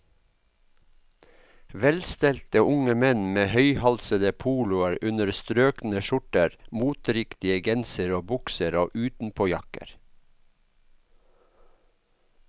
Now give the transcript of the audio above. Velstelte unge menn med høyhalsede poloer under strøkne skjorter, moteriktige gensere og bukser og utenpåjakker.